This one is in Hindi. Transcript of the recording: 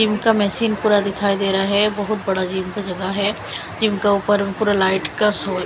इनका मेसिन पूरा दिखाई दे रहा है बहुत बड़ा जिम का जगह है जिम का ऊपर पूरा लाइट का शो --